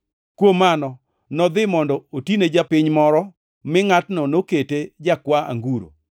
Kuom mano nodhi mondo otine japiny moro, mi ngʼatno nokete jakwa anguro.